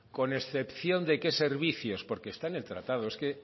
con excepción de qué servicios porque está en el tratado es que